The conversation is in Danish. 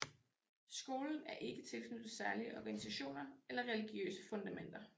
Skolen er ikke tilknyttet særlige organisationer eller religiøse fundamenter